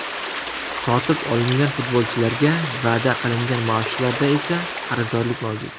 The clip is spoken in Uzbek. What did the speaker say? Sotib olingan futbolchilarga va’da qilingan maoshlarda esa qarzdorlik mavjud.